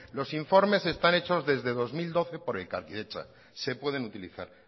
los informes están hechos desde dos mil doce por elkarkidetza se pueden utilizar